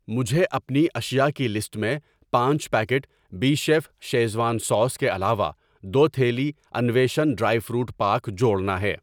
مجھے اپنی اشیاء کی لسٹ میں پانچ پیکٹ بی شیف شیزوان سوس کے علاوہ دو تھیلی انویشن ڈرائی فروٹ پاک جوڑنا ہے۔